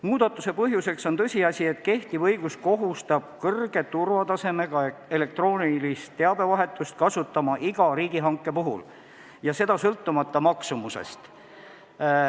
Muudatuse põhjuseks on tõsiasi, et kehtiv õigus kohustab kõrge turvatasemega elektroonilist teabevahetust kasutama iga riigihanke puhul, sõltumata hanke maksumusest.